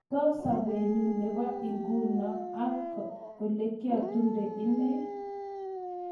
Ter sobenyi nebo nguno ak olekietundo inne